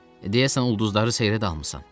Deyəsən ulduzları seyrə dalmısan.